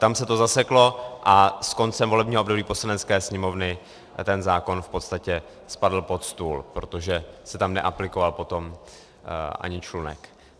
Tam se to zaseklo a s koncem volebního období Poslanecké sněmovny ten zákon v podstatě spadl pod stůl, protože se tam neaplikoval potom ani člunek.